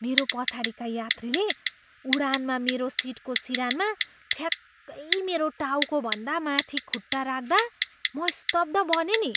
मेरो पछाडिका यात्रुले उडानमा मेरो सिटको सिरानमा ठ्याक्कै मेरो टाउकोभन्दा माथि खुट्टा राख्दा म स्तब्ध बनेँ नि!